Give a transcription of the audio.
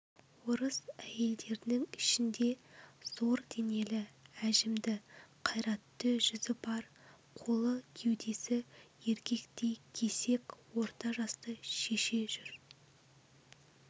орыс әйелдерінің ішінде зор денелі әжімді қайратты жүзі бар қолы кеудесі еркектей кесек орта жасты шеше жүр